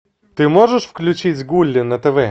ты можешь включить гулли на тв